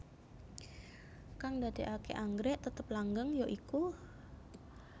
Kang ndadekake anggrèk tetep langgeng ya iku